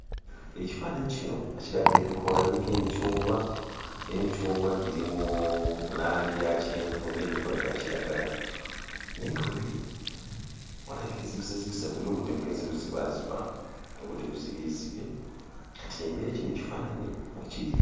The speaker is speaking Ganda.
Ekifaananyi kino kiraga ebikoola biriko emicungwa naye emicungwa giri mu langi ya kyenvu n'ebikoola bya kiragala. Naye nga we biri walaga enzikizazikiza weeri, obudde bugenze buzibaaziba, obudde buzibyezibye kati y'embeera kino ekifaananyi mwe kiri.